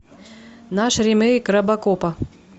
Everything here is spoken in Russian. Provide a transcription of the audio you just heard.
наш ремейк робокопа